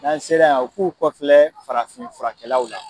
N'an sera yan u k'u kɔfilɛ farafin furakɛlaw la.